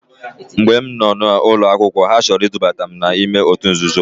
Mgbe m noo n'ụlọ akwụkwọ ha chọrọ idubata m n'ime otu nzuzo.